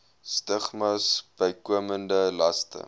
stigmas bykomende laste